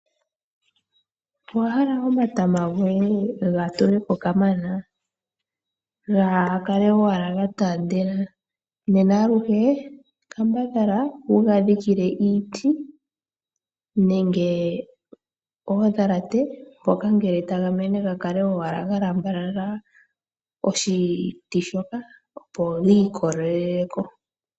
Owahala omatama goye gatule ko kamana, gaa kale owala ga taandela? Aluhe kambadhala wuga dhikile iiti nenge oodhalate opo ngele taga mene ga kale ga lamba oshiti shoka opo gi ikolele ko.